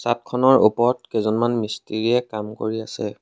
চাত খনৰ ওপৰত কেইজনমান মিস্ত্ৰীয়ে কাম কৰি আছে।